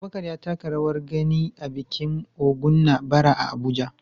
Abubakar ya taka rawar gani a bikin Ògún na bara a Abuja.